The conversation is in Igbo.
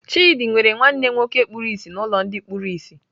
Chidi nwere nwanne nwoke kpuru ìsì n'ụlọ ndị kpuru ìsì.